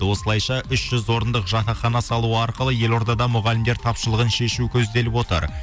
осылайша үш жүздік орындық жатақхана салу арқылы елордада мұғалімдер тапшылығын шешу көзделіп отыр